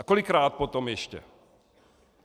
A kolikrát potom ještě?